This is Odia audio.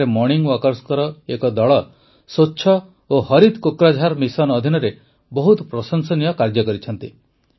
ଏଠାରେ ମର୍ଣ୍ଣିଂ ୱାକର୍ସଙ୍କ ଏକ ଦଳ ସ୍ୱଚ୍ଛ ଓ ହରିତ୍ କୋକ୍ରାଝାର ମିଶନ ଅଧୀନରେ ବହୁତ ପ୍ରଶଂସନୀୟ କାର୍ଯ୍ୟ କରିଛନ୍ତି